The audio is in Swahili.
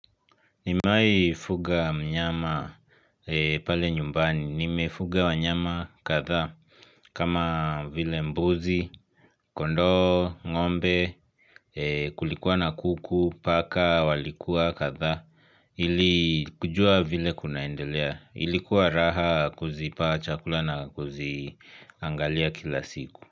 Nimewahi fuga mnyama pale nyumbani, nimefuga wanyama kadhaa kama vile mbuzi, kondo, ngombe, kulikuwa na kuku, paka, walikuwa kadhaa, ili kujua vile kunaendelea, ilikuwa raha kuzipa chakula na kuziangalia kila siku.